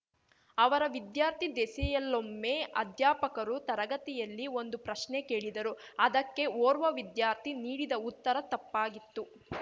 ಅವರ ವಿದ್ಯಾರ್ಥಿ ದೆಸೆಯಲ್ಲೊಮ್ಮೆ ಅಧ್ಯಾಪಕರು ತರಗತಿಯಲ್ಲಿ ಒಂದು ಪ್ರಶ್ನೆ ಕೇಳಿದರು ಅದಕ್ಕೆ ಓರ್ವ ವಿದ್ಯಾರ್ಥಿ ನೀಡಿದ ಉತ್ತರ ತಪ್ಪಾಗಿತ್ತು